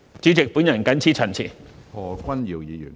主席，我謹此陳辭。